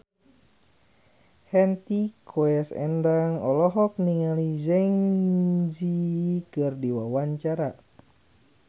Hetty Koes Endang olohok ningali Zang Zi Yi keur diwawancara